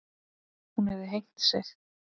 Hún hefði hengt sig.